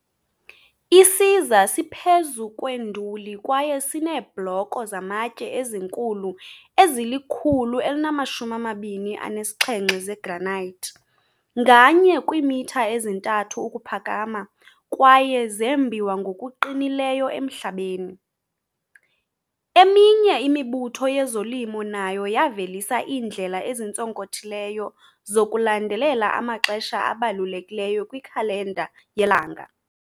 Isiza siphezu kwenduli kwaye sineebhloko zamatye ezinkulu ezili-127 zegranite, nganye kwiimitha ezi-3 ukuphakama, kwaye zembiwa ngokuqinileyo emhlabeni. Ezinye imibutho yezolimo nayo yavelisa iindlela ezintsonkothileyo zokulandelela amaxesha abalulekileyo kwikhalenda yelanga.